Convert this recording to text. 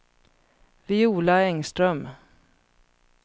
Viola Engström